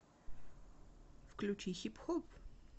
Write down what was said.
включи хип хоп